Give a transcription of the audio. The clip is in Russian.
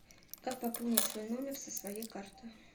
как пополнить свой номер со своей карты